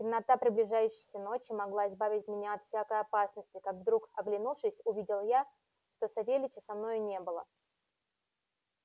темнота приближающейся ночи могла избавить меня от всякой опасности как вдруг оглянувшись увидел я что савельича со мною не было